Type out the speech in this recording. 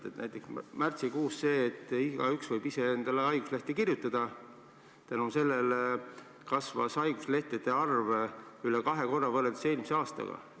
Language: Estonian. Näiteks, tänu sellele, et märtsikuust alates võib igaüks ise endale haiguslehte välja kirjutada, kasvas haiguslehtede arv üle kahe korra võrreldes eelmise aastaga.